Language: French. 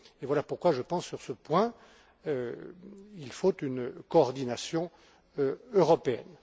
Voilà pourquoi je pense, sur ce point, qu'il faut une coordination européenne.